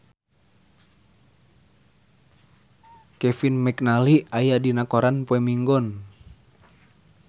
Kevin McNally aya dina koran poe Minggon